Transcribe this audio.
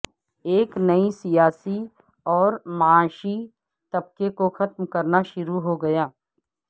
ایک نئی سیاسی اور معاشی طبقے کو ختم کرنا شروع ہوگیا